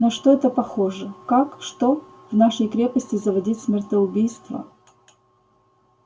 на что это похоже как что в нашей крепости заводить смертоубийство